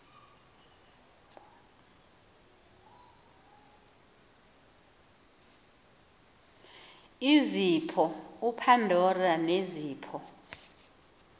izipho upandora nezipho